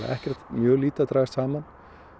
mjög lítið að dragast saman